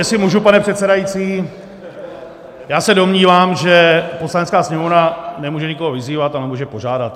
Jestli můžu, pane předsedající, já se domnívám, že Poslanecká sněmovna nemůže nikoho vyzývat, ale může požádat.